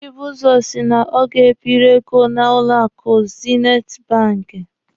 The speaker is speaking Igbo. Chibuzo si na ọ ga-ebiri ego n'ụlọ akụ zinit banki.